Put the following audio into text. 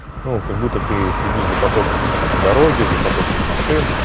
ну как будто ты следишь за потоком на дороге за потоком машин